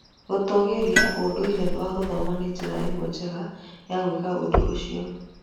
Gũtũgĩria ũndũire wa gũthoma nĩ njĩra ĩmwe njega ya gwĩka ũndũ ũcio.